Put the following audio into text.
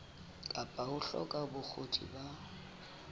kapa ho hloka bokgoni ba